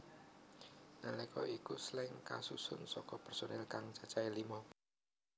Nalika iku Slank kasusun saka personil kang cacahé lima